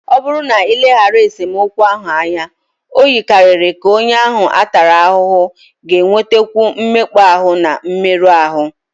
Ọ bụrụ na e lebaraghị esemokwu ahụ anya, o yikarịrị ka onye ahụ a tara ahụhụ ga-enwetakwu mmekpa ahụ na mmerụ ahụ.